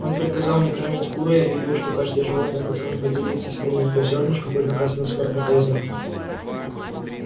он приказал не кормить кур и объявил что каждое животное которое поделится с ними хоть зёрнышком будет наказано смертной казнью